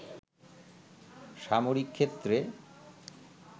সামরিক ক্ষেত্রে